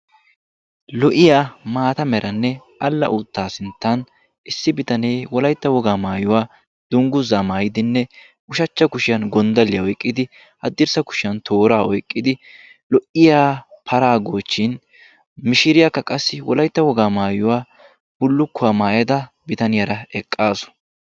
lo''iya maata meranne alla uutta sinttan issi bitanee wolaytta wogaa maayuwaa dungguzza maayidinne ushachchaa kushiyaan gonddaliya oyqqidi haddirssa kushiyan toora oyqqidi lo''iya para goochchin mishiriyaakka qassi wolaytta wogaa maayuwa bullukuwaa maayada bitaniyaara eqqaasu.